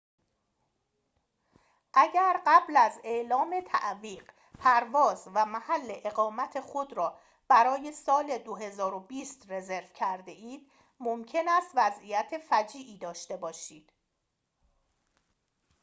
اگر قبل از اعلام تعویق پرواز و محل اقامت خود را برای سال ۲۰۲۰ رزرو کرده اید ممکن است وضعیت فجیعی داشته باشید